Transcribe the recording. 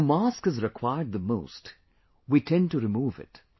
When a mask is required the most, we tend to remove it